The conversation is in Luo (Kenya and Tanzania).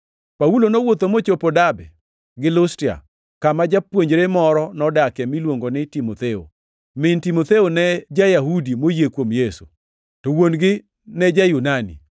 Paulo nowuotho mochopo Derbe gi Lustra, kama japuonjre moro nodakie miluongo ni Timotheo. Min Timotheo ne ja-Yahudi moyie kuom Yesu, to wuon-gi ne ja-Yunani.